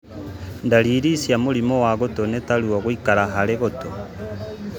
Ndariri cia mũrimũ wa gũtũ nĩ ta ruo gũikara harĩ gũtũ